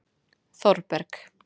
Þorberg